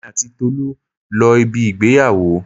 Èmi àti Tolu lọ ibi ìgbéyàwó.